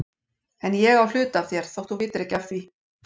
En ég á hluta af þér þótt þú vitir ekki af því.